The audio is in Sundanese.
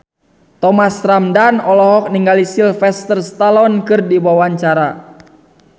Thomas Ramdhan olohok ningali Sylvester Stallone keur diwawancara